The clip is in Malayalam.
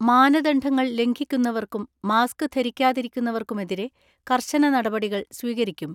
മാനദണ്ഡങ്ങൾ ലംഘിക്കുന്നവർക്കും മാസ്ക് ധരിക്കാതിരിക്കുന്നവർക്കുമെതിരെ കർശന നടപടികൾ സ്വീകരിക്കും.